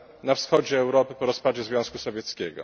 na wschodzie Europy po rozpadzie Związku Sowieckiego.